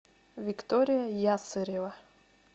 виктория ясырева